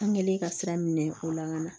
An kɛlen ka sira minɛ o la ka na